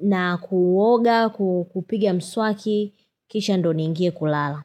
na kuoga, kupiga mswaki, kisha ndio niingie kulala.